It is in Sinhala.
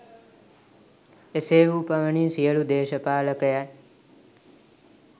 එසේ වූ පමණින් සියලු දේශපාලකයන්